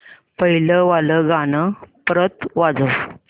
पहिलं वालं गाणं परत वाजव